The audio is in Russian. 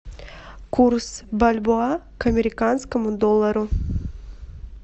курс бальбоа к американскому доллару